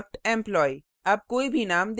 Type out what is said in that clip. उदाहरण struct employee;